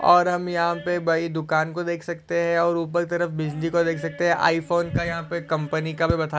और हम यहाँ पे भाई दुकान को देख सकते है और ऊपर की तरफ बिजली को देख सकते है आईफोन का यहा पे कंपनी का भी बता--